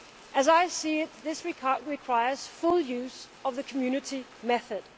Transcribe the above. As I see it, this requires full use of the Community method.